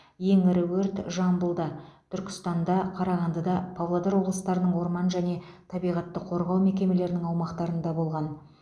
ең ірі өрт жамбылда түркістанда қарағандыда павлодар облыстарының орман және табиғатты қорғау мекемелерінің аумақтарында болған